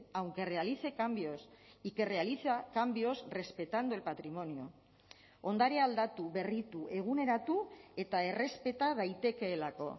aunque realice cambios y que realiza cambios respetando el patrimonio ondarea aldatu berritu eguneratu eta errespeta daitekeelako